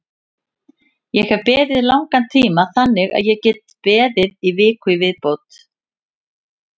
Ég hef beðið í langan tíma þannig að ég get beðið í viku í viðbót.